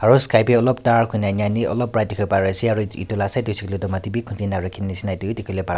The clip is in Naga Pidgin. aru sky b olop dark hoi na olop bright dikhi bole pare ase aro et etu la side de huishe koile mati b khundi na rakhi nishena etu b dikhi bole pa--